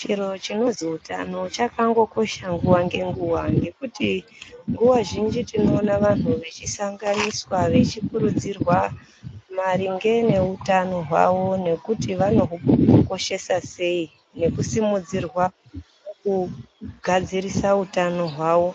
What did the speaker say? Chinhu chinondzi utano chakangokosha nguva ngenguva, ngekuti nguva zhinji tinowona vanhu vechisanganiswa vechikurudzirwa maringe nehutano hwavo nekuti vanogukoshesa sei nekusimudzirwa kugadzirisa hutano hwavo.